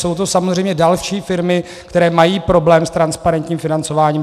Jsou to samozřejmě další firmy, které mají problém s transparentním financováním.